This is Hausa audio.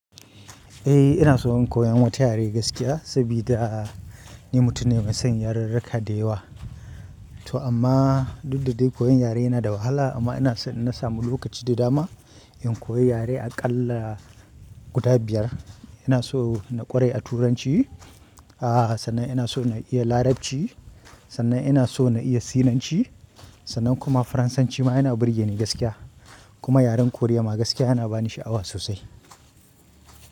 Eh ina so in koyi wata yare gaskiya saboda ni mutum ne mai son ya rurruka da yawa. To amma duk da dai koyon yare yana da wahala amma ina so inna samu lokaci da dama in koyi yare aƙalla guda biyar. Ina so na ƙware a Turanci, sannan ina so na iya Larabci, sannan ina so na iya Sinanci, sannan kuma Faransanci ma yana burge ni gaskiya. Kuma yaran korea ma gaskiya yana bani sha'awa sosai.